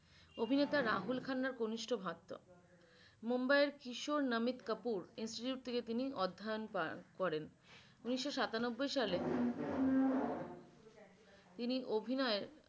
অভিনেতা রাহুল খান্নার ঘনিষ্ঠ ভক্ত মুম্বাইয়ের কিশোর নামিথা কাপুর institute থেকে তিনি অধ্যয়ন করেন উনিশ সাতানব্বই সালে তিনি অভিনয়